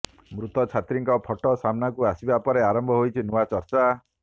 ମୃତ ଛାତ୍ରୀଙ୍କ ଫଟୋ ସାମ୍ନାକୁ ଆସିବା ପରେ ଆରମ୍ଭ ହୋଇଛି ନୂଆ ଚର୍ଚ୍ଚା